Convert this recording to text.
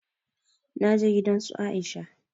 Na je gidan su Aisha